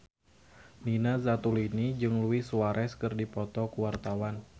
Nina Zatulini jeung Luis Suarez keur dipoto ku wartawan